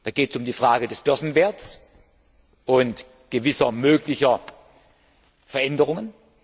Da geht es um die Frage des Börsenwerts und gewisser möglicher Veränderungen.